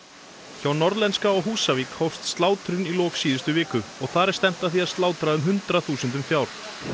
hjá Norðlenska á Húsavík hófst slátrun í lok síðustu viku og þar er stefnt að því að slátra um hundrað þúsundum fjár